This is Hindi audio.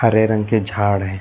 हरे रंग के झाड़ हैं।